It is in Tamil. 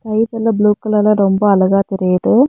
ஸ்கை ஃபுல்லா ப்ளூ கலர்ல ரொம்ப அழகா தெரியிது.